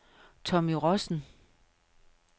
Tommy Rossen